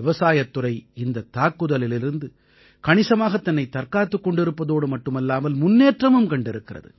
விவசாயத் துறை இந்தத் தாக்குதலிலிருந்து கணிசமாகத் தன்னைத் தற்காத்துக் கொண்டிருப்பதோடு மட்டுமல்லாமல் முன்னேற்றமும் கண்டிருக்கிறது